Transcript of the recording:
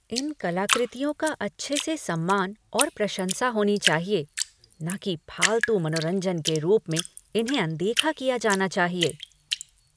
इन कलाकृतियों का अच्छे से सम्मान और प्रशंसा होनी चाहिए, ना कि फालतू मनोरंजन के रूप में इन्हें अनदेखी किया जाना चाहिए।